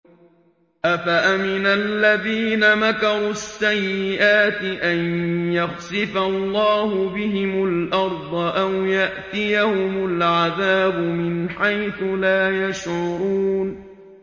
أَفَأَمِنَ الَّذِينَ مَكَرُوا السَّيِّئَاتِ أَن يَخْسِفَ اللَّهُ بِهِمُ الْأَرْضَ أَوْ يَأْتِيَهُمُ الْعَذَابُ مِنْ حَيْثُ لَا يَشْعُرُونَ